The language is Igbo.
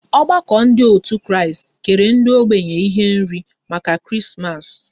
Ọgbakọ ndị otu Kristi kere ndị ógbènye ihe nri maka Krismas